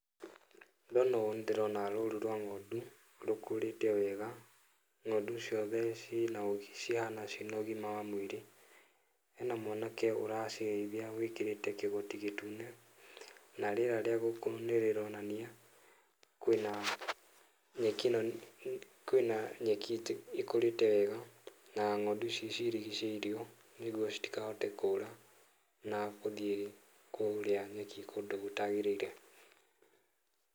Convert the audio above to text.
Ndona ũũ nĩ ndĩrona rũru rwa ng'ondu rũkũrĩte wega, ng'ondu ciothe cihana ciĩna ũgima wa mwĩrĩ, hena mwanake ũracirĩithia wĩkĩrĩte kĩgoti gĩtune, na rĩera rĩa gũkũ nĩ rĩronania kwĩna kwĩna nyeki ĩkũrĩte wega, na ng'ondu ici cirigicĩirio nĩguo citikahote kũra, na gũthiĩ kũrĩa nyeki kũndũ gũtagĩrĩire.